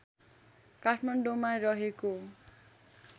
काठमाडौँमा रहेको